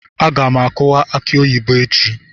Aga m akuwa aki oyibo echi.